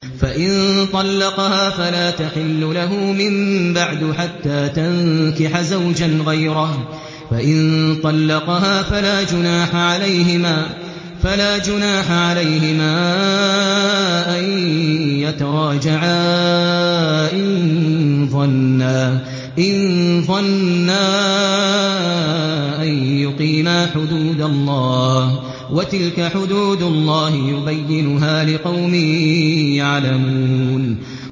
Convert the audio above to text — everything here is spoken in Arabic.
فَإِن طَلَّقَهَا فَلَا تَحِلُّ لَهُ مِن بَعْدُ حَتَّىٰ تَنكِحَ زَوْجًا غَيْرَهُ ۗ فَإِن طَلَّقَهَا فَلَا جُنَاحَ عَلَيْهِمَا أَن يَتَرَاجَعَا إِن ظَنَّا أَن يُقِيمَا حُدُودَ اللَّهِ ۗ وَتِلْكَ حُدُودُ اللَّهِ يُبَيِّنُهَا لِقَوْمٍ يَعْلَمُونَ